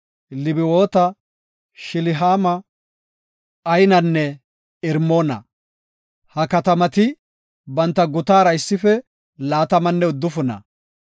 Lebawoota, Shilihaama, Aynanne Irmoona. Ha katamati banta gutatara issife laatamanne uddufuna.